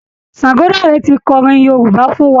Ṣàngọdáre ti kọrin Yorúbá fún wa